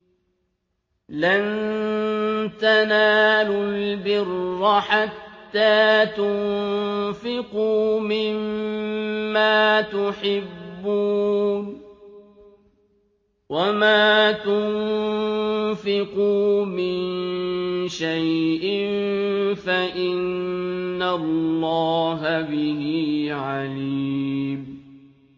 لَن تَنَالُوا الْبِرَّ حَتَّىٰ تُنفِقُوا مِمَّا تُحِبُّونَ ۚ وَمَا تُنفِقُوا مِن شَيْءٍ فَإِنَّ اللَّهَ بِهِ عَلِيمٌ